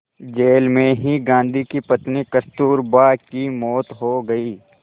jail में ही गांधी की पत्नी कस्तूरबा की मौत हो गई